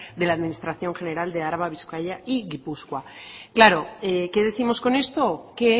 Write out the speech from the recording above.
de la administración general de araba bizkaia y gipuzkoa claro qué décimos con esto que